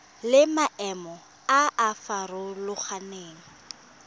le maemo a a farologaneng